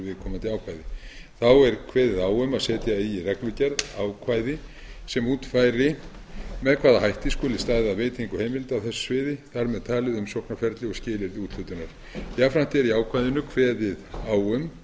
viðkomandi ákvæði þá er kveðið á um að setja eigi í reglugerð ákvæði sem útfæri með hvaða hætti skuli staðið að veitingu heimilda á þessu sviði þar með talið umsóknarferli og skilyrði úthlutunar jafnframt er í ákvæðinu kveðið á um